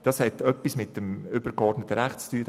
das hat etwas mit dem übergeordneten Recht zu tun.